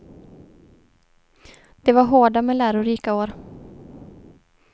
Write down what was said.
Det var hårda men lärorika år.